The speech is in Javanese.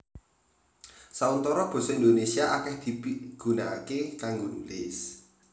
Sauntara basa Indonésia akèh dipigunakaké kanggo nulis